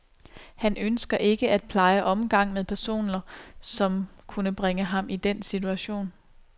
Han ønsker ikke at pleje omgang med personer, som kunne bringe ham i den situation.